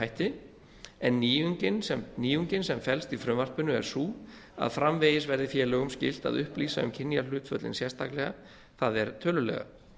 hætti en nýjungin sem felst í frumvarpinu er sú að framvegis verði félögum skylt að upplýsa um kynjahlutföllin sérstaklega það er tölulega